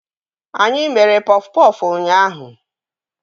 Anyị mere pọf pọfụ ụnyaahụ